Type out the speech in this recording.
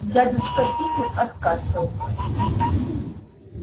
дядюшка питер откашлялся